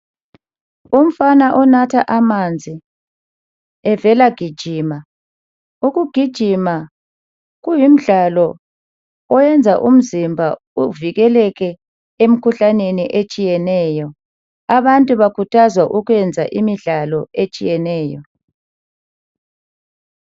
Umfana onatha amanzi evela gijima, ukugijima kuyimdlalo oyenza umzimba uvikeleke emkhuhlaneni etshiyeneyo. Abantu bakhuthazwa ukwenza imidlalo etshiyeneyo.